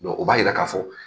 o b'a yira ka fɔ